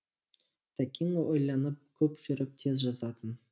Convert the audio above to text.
тәкең ойланып көп жүріп тез жазатын